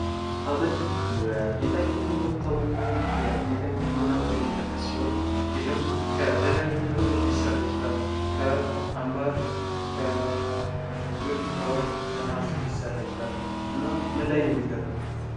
ሀብል በጌጣጌጥነት ከሚታወቁ የጌጥ አይነቶች መካከል የሚጠቀስ ሲሆን ይህም ከተለያዩ ነገሮች ሊሰራ ይችላል። ከአንባር፣ ከብር፣ ከወርቅና ከነሀስ ሊሰራ ይችላል። እና ምን ላይ ነው የሚደረገው?